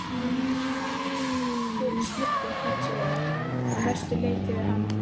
Við sluppum hins vegar að mestu leyti við hana.